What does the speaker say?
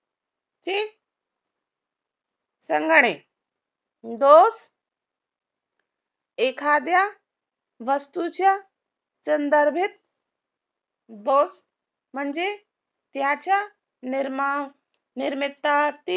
संघाने दोष एखाद्या वस्तूच्या संदर्भित म्हणजे त्याचा निर्माण